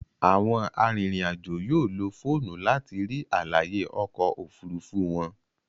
Àwọn arinrin-ajo yóò ló fóònù láti rí àlàyé oko òfurufú wón.